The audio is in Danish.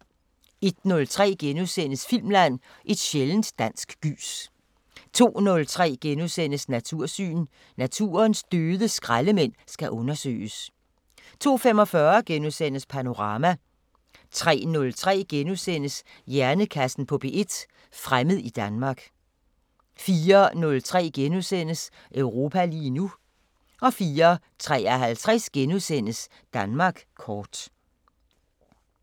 01:03: Filmland: Et sjældent dansk gys * 02:03: Natursyn: Naturens døde skraldemænd skal undersøges * 02:45: Panorama * 03:03: Hjernekassen på P1: Fremmed i Danmark * 04:03: Europa lige nu * 04:53: Danmark kort *